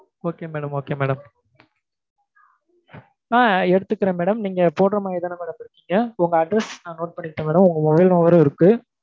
okay madam okay madam ஆஹ் எடுத்துக்கிறேன் madam நீங்க போடறமாதிரிதான madam இருக்கீங்க? உங்க address நான் note பண்ணிக்கவா madam உங்க mobile number ம் இருக்கு